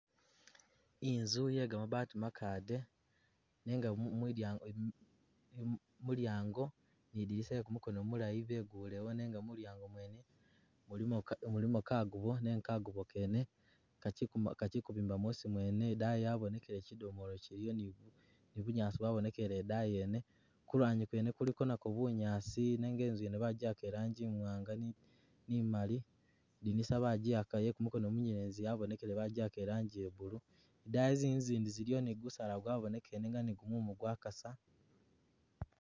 Inzu ye ga mabaati makade nenga mu mwi dyango mu mu mu lyaango ni dilisa ye kumukono mulayi begulewo nenga mu lyaango mwene mulimo ka mulimo kagubo nenga kagubo kene kachi kachikubimba mwosi mwene, idaayi yabonekele chidomolo chiliyo ni ni bunyaasi bwabonekele idaayi yene, ku lwanyi kwene kuliko nakwo bunyaasi nenga inzu yene bajiyaka i'laanji imwaanga ni imaali, lidinisa bajiyaka ye kumukono munyelezi yabonekele bajiyaka ilanji ye blue, i'daayi zinzu zindi ziliyo ni gusaala gwabonekele nenga ni gumumu gwakasa.